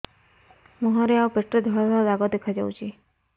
ମୁହଁରେ ଆଉ ପେଟରେ ଧଳା ଧଳା ଦାଗ ଦେଖାଯାଉଛି